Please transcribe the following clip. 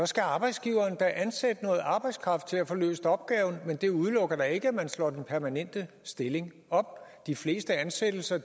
skal arbejdsgiveren da ansætte noget arbejdskraft til at få løst opgaven men det udelukker ikke at man slår den permanente stilling op de fleste ansættelser